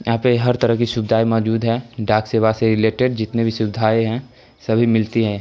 यहां पे हर तरह की सुविधाएँ मौजूद है डाक सेवा से रिलेटेड जितनी भी सुविधाएँ हैं सभी मिलती है।